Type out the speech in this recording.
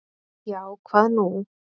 """Já, hvað er nú?"""